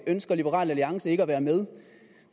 ønsker liberal alliance ikke at være med